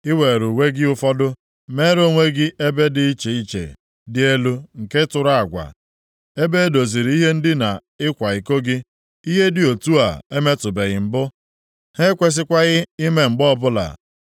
Ị were uwe gị ụfọdụ, meere onwe gị ebe dị iche iche dị elu nke tụrụ agwa, ebe doziri ihe ndina ịkwa iko gị. Ihe dị otu a emetụbeghị mbụ, ha ekwesịkwaghị ime mgbe ọbụla.